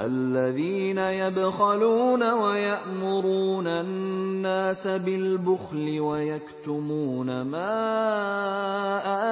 الَّذِينَ يَبْخَلُونَ وَيَأْمُرُونَ النَّاسَ بِالْبُخْلِ وَيَكْتُمُونَ مَا